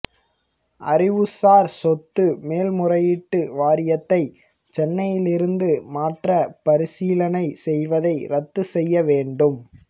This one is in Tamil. அறிவுசார் சொத்து மேல்முறையீட்டு வாரியத்தை சென்னையிலிருந்து மாற்ற பரிசீலனை செய்வதை ரத்து செய்ய வேண்டும்